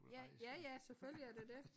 Ja ja ja selvfølgelig er det dét